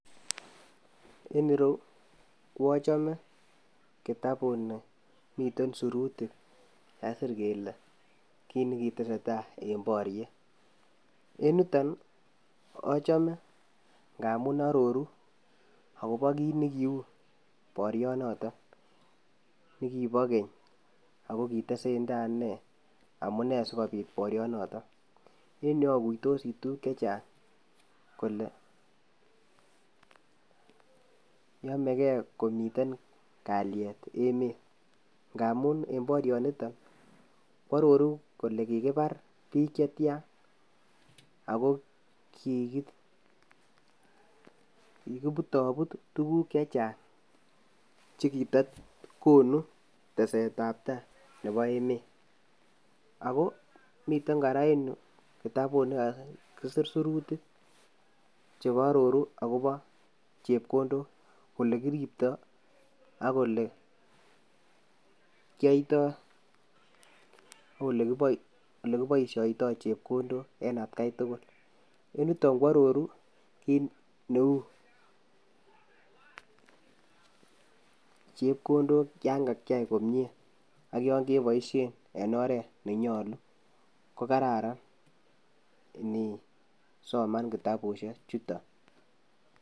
En ireu koachame kitapuni miten sirutik che kagisir kele kit nekitesetai en boriet. En yuton ii achame ngamun aroru agobo kit nekiu borionotok nekibo keny ago kitesenda ne amune sigopit borionotok. En yu agoitosi tuguk che chang kole yamege komiten kalyet emet. Ngamun en borionito koaroru kole kigibar biik chetyan ago kigi kigiputabut tuguk che chang che kitagonu tesetab ta nebo emet. Ago miten kora en yu kitabut ne, nekagisir sirutik che aroru agobo chepkondok, olegiripta ak ole kiyaito ak ole, ole kipaisioitoi chepkondok en atkai tugul. En yuton koaroru kit neu chepkondok yon kakyai komie ak yon keboisien en oret nenyalu, ko kararan inisoman kitabusiechuton.